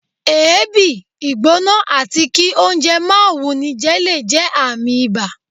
èébi, ìgbóná atí kí oúnjẹ máà wúníjé le jé ààmì ìbá